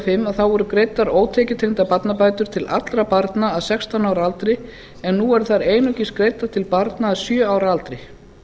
og fimm voru greiddar ótekjutengdar barnabætur til allra barna að sextán ára aldri en nú eru þær einungis greiddar til barna að sjö ára aldri